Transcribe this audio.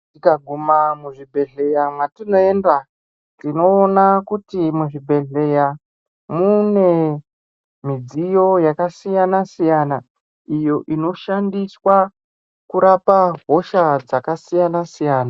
Tikaguma muzviBhedhleya mwatinoenda tinoona kuti muzvibhedhleya mune midziyo yakasiyana-siyana iyoo inoshandiswa kurapa hosha dzakasiyana-siyana.